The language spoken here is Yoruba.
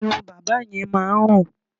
Ẹnu bàbá yẹn máa ń rùn.